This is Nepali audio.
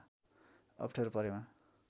अप्ठ्यारो परेमा